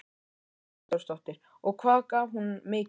Hugrún Halldórsdóttir: Og hvað gaf hún mikið?